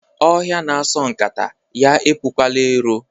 Ọhịa na-asọ nkata ya epukwala ero.